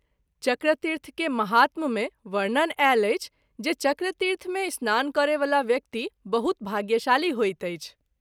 चक्रतीर्थ के महात्म मे वर्णन आयल अछि जे चक्रतीर्थ मे स्नान करय वला व्यक्ति बहुत भाग्यशाली होइत अछि।